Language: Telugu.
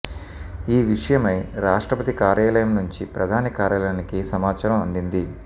ఈ విషయమై రాష్ట్రపతి కార్యాలయం నుంచి ప్రధాని కార్యాలయానికి సమాచారం అందింది